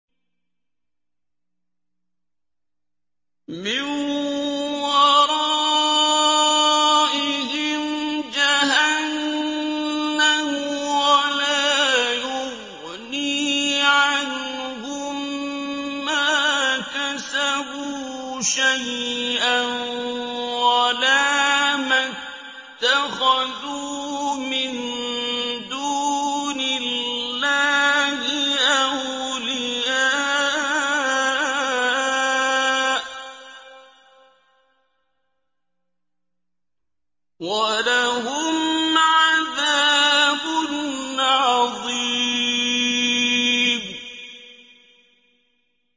مِّن وَرَائِهِمْ جَهَنَّمُ ۖ وَلَا يُغْنِي عَنْهُم مَّا كَسَبُوا شَيْئًا وَلَا مَا اتَّخَذُوا مِن دُونِ اللَّهِ أَوْلِيَاءَ ۖ وَلَهُمْ عَذَابٌ عَظِيمٌ